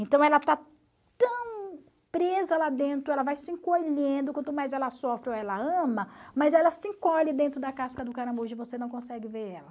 Então, ela está tão presa lá dentro, ela vai se encolhendo, quanto mais ela sofre ou ela ama, mas ela se encolhe dentro da casca do caramujo e você não consegue ver ela.